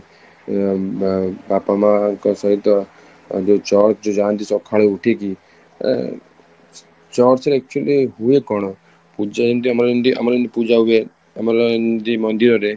ଅମ ଉମ ବାପା ମାଙ୍କ ସହିତ ଅ ଯୋଉ church ଯୋଉ ଯାଆନ୍ତି ସକାଳୁ ଉଠିକି ଆଁ church ରେ actually ହୁଏ କଣ? ପୂଜା ଯେମିତି ଆମର ଯେମିତି ପୂଜା ହୁଏ ଆମର ଯେମିତି ମନ୍ଦିର ରେ